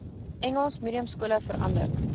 engels mediumskole verander